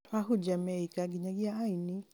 to ahunjia meika, nginyagia aini